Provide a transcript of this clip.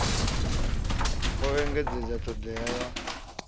o engedzedza t hodea ya